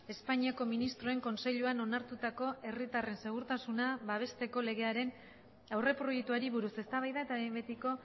espainiako ministroen kontseiluan onartutako herritarren segurtasuna babesteko legearen aurreproiektuari buruz eztabaida eta behin betiko